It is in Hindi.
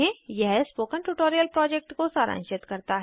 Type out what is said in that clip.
यह स्पोकन ट्यूटोरियल प्रोजेक्ट को सारांशित करता है